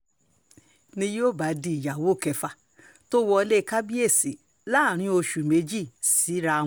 ni yóò bá di ìyàwó kẹfà tó wọlé kábíyèsí láàrin oṣù méjì síra wọn